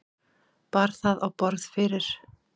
Bar það á borð fyrir